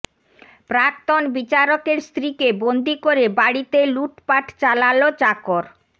প্রাক্তন বিচারকের স্ত্রীকে বন্দি করে বাড়িতে লুটপাট চালাল চাকর